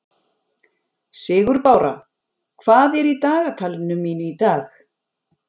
Sigurbára, hvað er í dagatalinu mínu í dag?